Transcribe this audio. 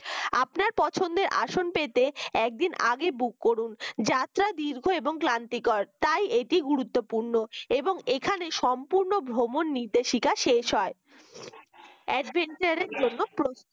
আসন পেতে একদিন আগে book করুন যাত্রা দীর্ঘ এবং ক্লান্তিকর তাই এটি গুরুত্বপূর্ণ এবং এখানে সম্পূর্ণ ভ্রমণ নির্দেশিকা শেষ হয় adventure র জন্য প্রস্তুত